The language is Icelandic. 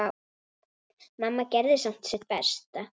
Mamma gerði samt sitt besta.